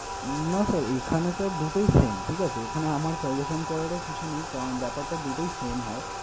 না sir, এখানে sir দুটাই same ঠিক আছে? এখানে আমার suggestion করারও কিছু নেই কারন ব্যাপারটা দুটোই same হয়।